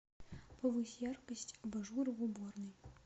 повысь яркость абажура в уборной